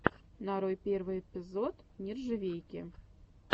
нарой первый эпизод нержавейки